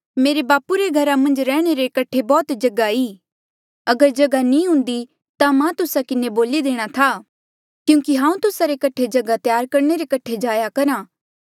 मेरे बापू रे घरा मन्झ रैहणे रे कठे बौह्त जगहा ई अगर जगहा नी हुन्दी ता मां तुस्सा किन्हें बोली देणा था क्यूंकि हांऊँ तुस्सा रे कठे जगहा त्यार करणे रे कठे जाया करहा